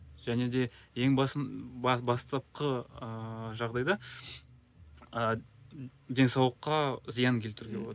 және де ең басын бастапқы ыыы жағдайда ы денсаулыққа зиян келтіруге болады